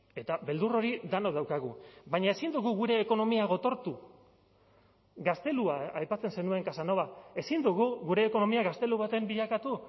eta beldur hori denok daukagu baina ezin dugu gure ekonomia gotortu gaztelua aipatzen zenuen casanova ezin dugu gure ekonomia gaztelu baten bilakatu